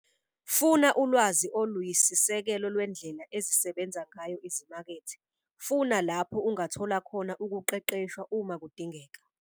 Funa ulwazi oluyisisekelo lwendlela ezisebenza ngayo izimakethe. Funa lapho ungathola khona ukuqeqeshwa uma kudingeka.